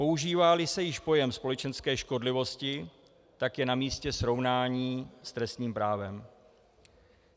Používá-li se již pojem společenské škodlivosti, tak je namístě srovnání s trestním právem.